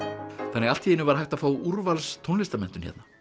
þannig að allt í einu var hægt að fá úrvals tónlistarmenntun hérna